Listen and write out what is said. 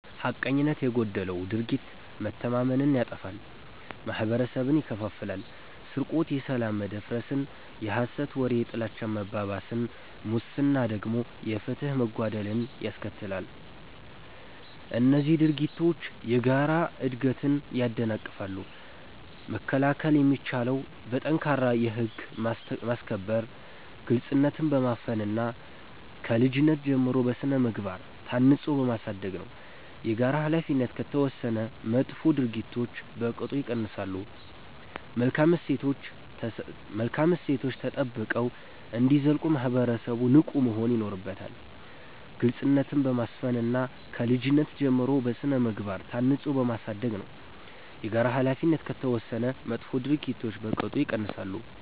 ሐቀኝነት የጎደለው ድርጊት መተማመንን ያጠፋል፤ ማህበረሰብን ይከፋፍላል። ስርቆት የሰላም መደፍረስን፣ የሐሰት ወሬ የጥላቻ መባባስን፣ ሙስና ደግሞ የፍትህ መጓደልን ያስከትላሉ። እነዚህ ድርጊቶች የጋራ እድገትን ያደናቅፋሉ። መከላከል የሚቻለው በጠንካራ የህግ ማስከበር፣ ግልጽነትን በማስፈን እና ከልጅነት ጀምሮ በሥነ-ምግባር ታንጾ በማሳደግ ነው። የጋራ ኃላፊነት ከተወሰደ መጥፎ ድርጊቶች በቅጡ ይቀንሳሉ። መልካም እሴቶች ተጠብቀው እንዲዘልቁ ማህበረሰቡ ንቁ መሆን ይኖርበታል። ግልጽነትን በማስፈን እና ከልጅነት ጀምሮ በሥነ-ምግባር ታንጾ በማሳደግ ነው። የጋራ ኃላፊነት ከተወሰደ መጥፎ ድርጊቶች በቅጡ ይቀንሳሉ።